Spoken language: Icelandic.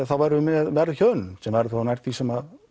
þá værum við með verðhjöðnun sem væri nær því sem